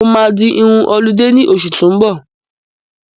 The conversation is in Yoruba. Mo máa di irun ọlidé ní oṣù tó n bọ̀